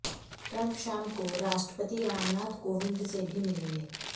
Trump शाम को राष्ट्रपति रामनाथ कोविंद से भी मिलेंगे